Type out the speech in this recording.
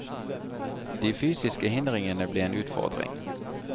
De fysiske hindringene ble en utfordring.